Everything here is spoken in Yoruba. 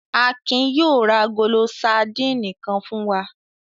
Akin yóò ra agolo sadínì kan fún wa.